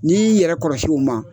N'i yɛrɛ kɔrɔsi u ma